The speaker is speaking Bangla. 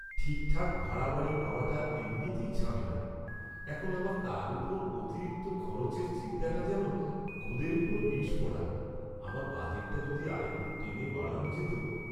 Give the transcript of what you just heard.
ঠিকঠাক ভাড়া বাড়ি পাওয়াটা এমনিতেই ঝামেলার, এখন আবার তার ওপর অতিরিক্ত খরচের চিন্তাটা যেন গোদের ওপর বিষফোঁড়া। আমার বাজেটটা যদি আরেকটু টেনে বাড়ানো যেত!